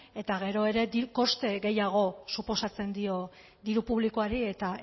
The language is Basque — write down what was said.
eta gero ere koste gehiago suposatzen dio diru publikoari eta